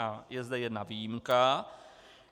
A je zde jedna výjimka.